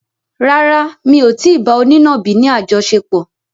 Rárá, mi ò tí ì bá onínàbì ni àjọṣepọ̀.